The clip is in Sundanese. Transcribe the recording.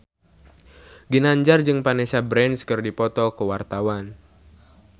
Ginanjar jeung Vanessa Branch keur dipoto ku wartawan